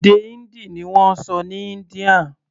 Èdè Hindi ni wọ́n sọ ní India.